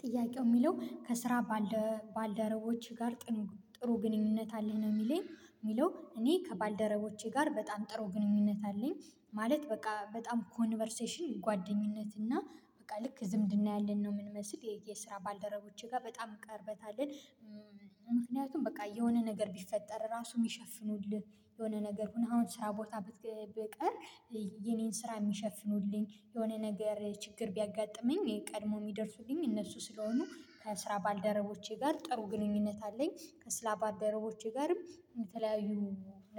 ጥያቄው የሚለው ከስራ ባልደረቦች ጋር ጥሩ ግንኙነት አለህ? ነው የሚለኝ የሚለው እኔ ከባልደረቦቼ ጋር በጣም ጥሩ ግንኙነት አለኝ ማለት በቃ በጣም ኮንቨርሴሽን ጓደኝነት እና በቃ ልክ ዝምድና ያለን ነው የምንመስል የስራ ባልደረቦቼ ጋር በጣም ቀርበታልን። ምክንያቱም በቃ የሆነ ነገር ቢፈጠር ራሱ የሚሸፍኑልህ የሆነ ነገር ሆነ አሁን ስራ ቦታ ብቀር የኔን ስራ የሚሸፍኑልኝ የሆነ ነገር ችግር ቢያጋጥመኝ ቀድሞ የሚደርሱልኝ እነሱ ስለሆኑ ከስራ ባልደረቦቼ ጋር ጥሩ ግንኙነት አለኝ። ከስራ ባልደረቦቼ ጋርም የተለያዩ